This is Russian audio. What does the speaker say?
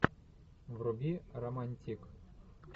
вруби романтик